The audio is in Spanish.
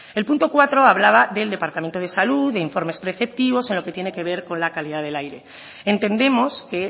el punto cuatro hablaba del departamento de salud de informes preceptivos en lo que tiene que ver con la calidad del aire entendemos que